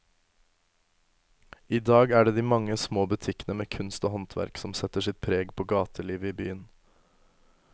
I dag er det de mange små butikkene med kunst og håndverk som setter sitt preg på gatelivet i byen.